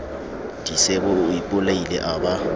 disebo o ipolaile a ba